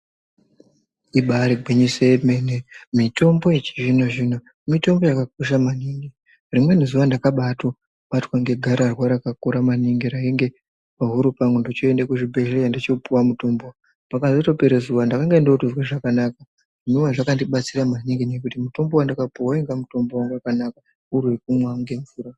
Ibari gwinyiso yemene mitombo yechizvino-zvino mitombo yakakosha maningi rimweni zuva ndakabato batwa negararwa rakakura maningi rainge pahuro pangu ndichoende kuzvibhedhleya ndochopuva mutombo. Pakazotopere zuva ndakazonge ndozwe zvakanaka zvinova zvakandibatsira maningi nekuti mutombo vandakapeva vainga mutombo vanga vakanaka uri vekumwa nemvura.